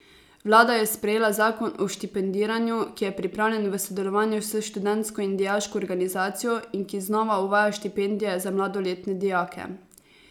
Vlada je sprejela zakon o štipendiranju, ki je pripravljen v sodelovanju s študentsko in dijaško organizacijo in ki znova uvaja štipendije za mladoletne dijake.